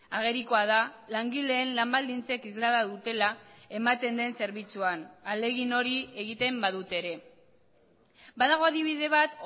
agerikoa da langileen lan baldintzek islada dutela ematen den zerbitzuan ahalegin hori egiten badute ere badago adibide bat